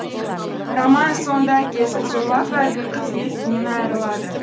романның соңында әкесі зорлап әлгі қыз есінен айырылады